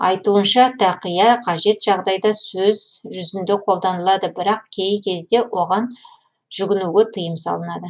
айтуынша тақийа қажет жағдайда сөз жүзінде қолданылады бірақ кей кезде оған жүгінуге тыйым салынады